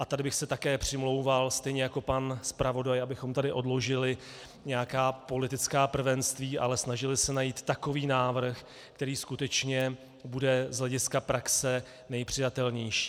A tady bych se také přimlouval, stejně jako pan zpravodaj, abychom tady odložili nějaká politická prvenství, ale snažili se najít takový návrh, který skutečně bude z hlediska praxe nejpřijatelnější.